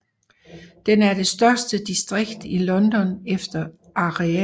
Den er det største distrikt i London efter areal